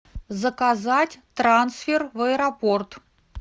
заказать трансфер в аэропорт